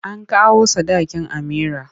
An kawo sadakin Amira.